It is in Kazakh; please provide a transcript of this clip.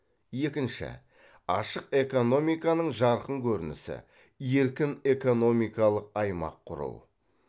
екінші ашық экономиканың жарқын көрінісі еркін экономикалық аймақ кұру